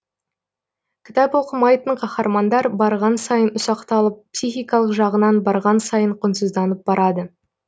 кітап оқымайтын қаһармандар барған сайын ұсақталып психикалық жағынан барған сайын құнсызданып барады